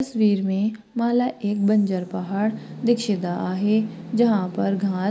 तस्वीर मे माला एक बंजर पहाड़ दिक्षिता आहे जहा पर घास--